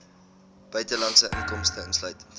buitelandse inkomste insluitend